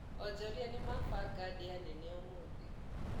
Onjoria nĩmabanga ndĩa nene ũmũthĩ.